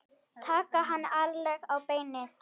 Taka hann ærlega á beinið.